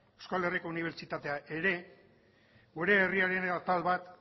euskal herriko unibertsitatea ere gure herriaren atal bat